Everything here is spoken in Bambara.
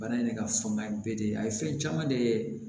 Bana in yɛrɛ ka fanga bɛɛ de ye a ye fɛn caman de ye